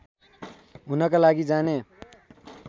हुनका लागि जाने